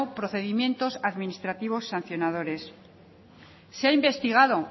procedimientos administrativos sancionadores se ha investigado